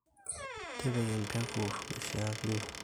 tipika empeku naishiaakino